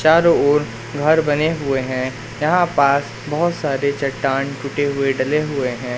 चारों ओर घर बने हुए हैं यहां पास बहोत सारे चट्टान टूटे हुए डले हुए हैं।